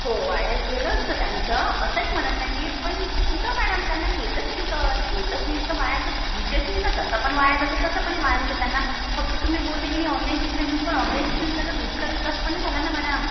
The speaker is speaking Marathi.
हो वाया गेलं असतं त्यांचं. असं नाही म्हणत आहे मी पण कुठं मॅडम त्यांना येतच कुठं. येतच नाही तर वाया चा विषयच नाही ना. तसं पण वाया गेलं असं पण वाया गेलं त्यांना. फक्त तुम्ही बोलले कि नाही ऑनलाईन शिक्षण देऊन पण त्यांना बुद्धीचा विकास पण नाही झाला ना मॅडम.